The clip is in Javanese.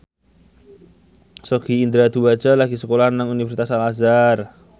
Sogi Indra Duaja lagi sekolah nang Universitas Al Azhar